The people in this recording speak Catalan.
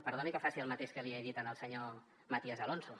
perdoni que faci el mateix que li he dit al senyor matías alonso